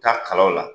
Taa kalaw la